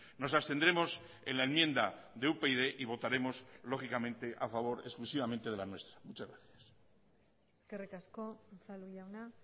nos abstendremos en la enmienda de upyd y votaremos lógicamente a favor exclusivamente de la nuestra muchas gracias eskerrik asko unzalu jauna